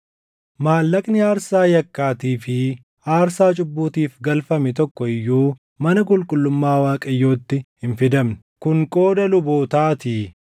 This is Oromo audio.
Maallaqni aarsaa yakkaatii fi aarsaa cubbuutiif galfame tokko iyyuu mana qulqullummaa Waaqayyootti hin fidamne; kun qooda lubootaatii.